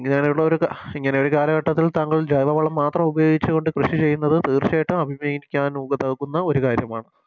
ഇങ്ങനെയുള്ളൊരു ഇങ്ങനെയൊരു കാലഘട്ടത്തിൽ താങ്കൾ ജൈവവളം മാത്രമുപയോഗിച്ച് കൊണ്ട് കൃഷി ചെയ്യുന്നത് തീർച്ചയായിട്ടും അഭിമുഖികരിക്കാ നു നൽകുന്ന ഒരു കാര്യമാണ്